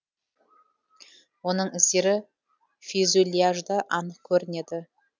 оның іздері фюзеляжда анық көрінеді